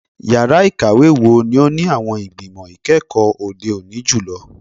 Yara ikawe wo ni o ni awọn igbimọ ikẹkọ ode oni julọ?